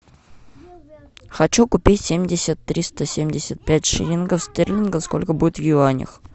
хочу купить семьдесят триста семьдесят пять шиллингов стерлингов сколько будет в юанях